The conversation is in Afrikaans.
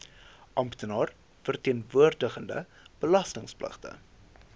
amptenaar verteenwoordigende belastingpligtige